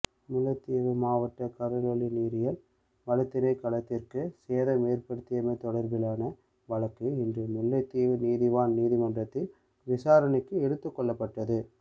முல்லைத்தீவு மாவட்ட கடற்றொழில் நீரியல் வளத்திணைக்களத்திற்கு சேதம் ஏற்படுத்தியமை தொடர்பிலான வழக்கு இன்று முல்லைத்தீவு நீதவான் நீதிமன்றத்தில் விசாரணைக்கு எடுத்துக்கொள்ளப்பட்டது